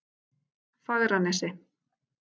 Fagranesi